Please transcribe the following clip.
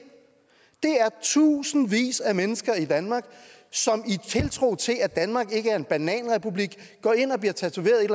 er de tusindvis af mennesker i danmark som i tiltro til at danmark ikke er en bananrepublik går ind og bliver tatoveret et